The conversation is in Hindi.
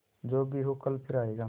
जो भी हो कल फिर आएगा